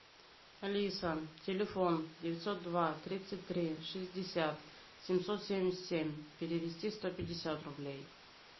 алиса телефон девятьсот два тридцать три шестьдесят семьсот семьдесят семь перевести сто пятьдесят рублей